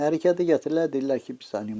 Hərəkəti gətirirlər, deyirlər ki, pis animatordur.